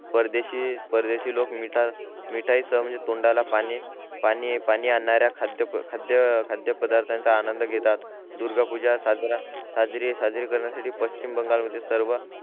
परदेशी परदेशी लोक मीठ मिठाई सह तोंडाला पाणी पाणीच आणरे खाद्यपदार्तनाचा आनंद घेतात दुर्गा पूजा साजरी करण्यासाठी पश्चिम बंगाल मध्ये सर्व